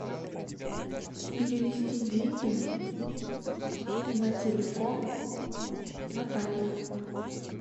перевести деньги на телефон натальи